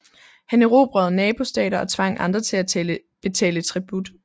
Han erobrede nabostater og tvang andre til at betale tribut